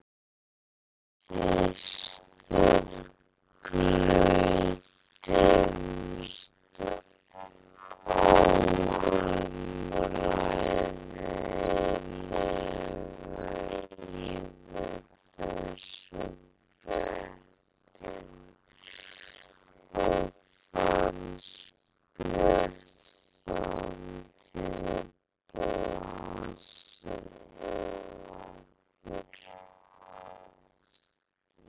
Við systur glöddumst óumræðilega yfir þessum fréttum og fannst björt framtíð blasa við okkur.